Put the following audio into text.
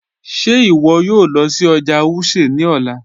Ṣẹ iwọ yòò lọ sí ọjà Wuse ni ọlá?